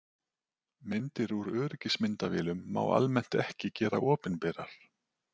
Myndir úr öryggismyndavélum má almennt ekki gera opinberar.